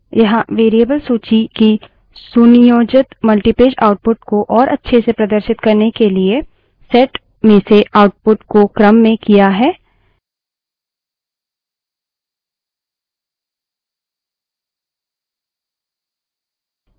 यहाँ variable सूची की सुनियोजित multipage output को और अच्छे से प्रदर्शित करने के लिए set में से output को क्रम में किया है